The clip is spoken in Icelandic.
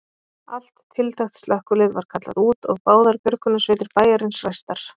Allt tiltækt slökkvilið var kallað út og báðar björgunarsveitir bæjarins ræstar.